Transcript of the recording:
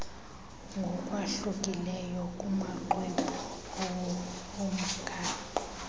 ngokwahlukileyo kumaxwebhu omgaqo